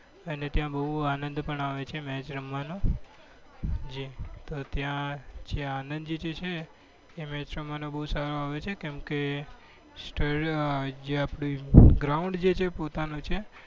અને ત્યાં બહુ જ આનંદ આવે છે match રમવાનું જે તો ત્યાં આનંદ જે છે એ match રમવાનો બહુ સારો આવે છે કેમકે જે આ ground જે છે એ પોતાનું છે.